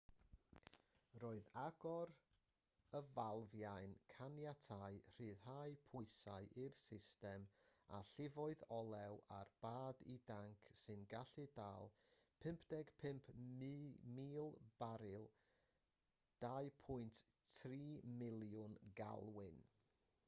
roedd agor y falfiau'n caniatáu rhyddhau pwysau i'r system a llifodd olew ar bad i danc sy'n gallu dal 55,000 baril 2.3 miliwn galwyn